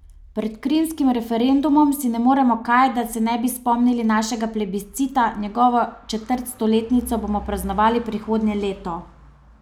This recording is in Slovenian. Pred krimskim referendumom si ne moremo kaj, da se ne bi spomnili našega plebiscita, njegovo četrtstoletnico bomo praznovali prihodnje leto.